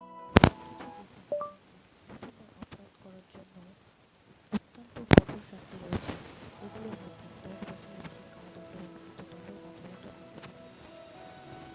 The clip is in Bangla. কিছু দেশে এমনকি প্রথমবার অপরাধ করার জন্যও অত্যন্ত কঠোর শাস্তি রয়েছে এগুলোর মধ্যে 10 বছরের বেশি কারাদণ্ড বা মৃত্যদণ্ডও অন্তর্ভুক্ত থাকতে পারে